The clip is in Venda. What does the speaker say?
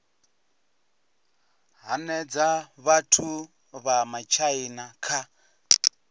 hanedza vhathu vha matshaina kha